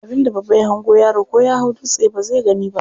Abin da babba ya hango yaro ko ya hau dutse bazai gani ba.